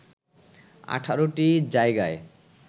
১৮ টি জায়গায়